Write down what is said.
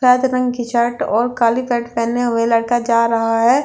वैद रंग की शर्ट और काले कट पहने हुए लड़का जा रहा है।